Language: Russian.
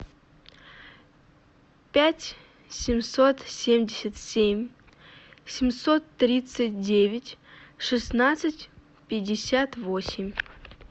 пять семьсот семьдесят семь семьсот тридцать девять шестнадцать пятьдесят восемь